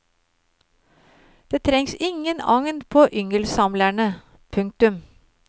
Det trengs ingen agn på yngelsamlerne. punktum